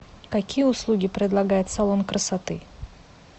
какие услуги предлагает салон красоты